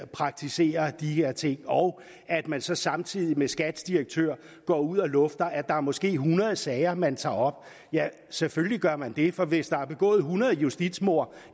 praktiserer de her ting og at man så samtidig med skats direktør går ud og lufter at der måske er hundrede sager man tager op ja selvfølgelig gør man det for hvis der er begået hundrede justitsmord